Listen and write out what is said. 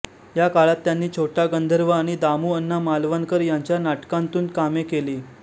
या काळात त्यांनी छोटा गंधर्व आणि दामूअण्णा मालवणकर यांच्या नाटकांतून कामे केली